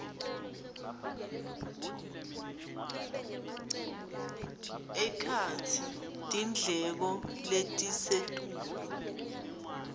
ekhatsi tindleko letisetulu